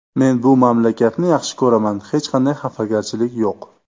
Men bu mamlakatni yaxshi ko‘raman, hech qanday xafagarchilik yo‘q.